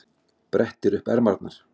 Brettir upp ermarnar.